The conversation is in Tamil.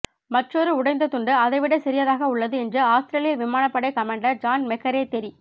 மற்றொரு உடைந்த துண்டு அதைவிட சிறியதாக உள்ளது என்று ஆஸ்திரேலிய விமானப் படை கமாண்டர் ஜான் மெக்கரே தெரி